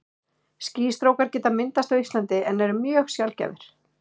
Skýstrókar geta myndast á Íslandi en eru mjög sjaldgæfir.